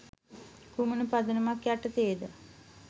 කුමන පදනමක් යටතේද?